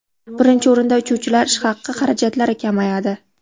Birinchi o‘rinda uchuvchilar ish haqi xarajatlari kamayadi.